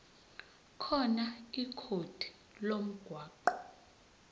khona ikhodi lomgwaqo